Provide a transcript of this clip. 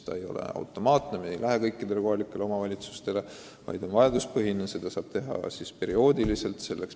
Asi ei käi automaatselt kõikides kohalikes omavalitsustes, see menetlus on vajaduspõhine.